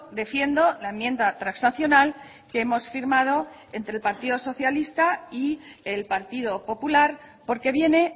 defiendo la enmienda transaccional que hemos firmado entre el partido socialista y el partido popular porque viene